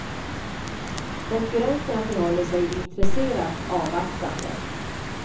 Konkurrenterna förhåller sig intresserat avvaktande.